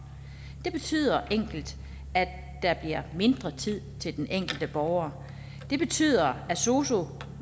det betyder enkelt at der bliver mindre tid til den enkelte borger det betyder at sosu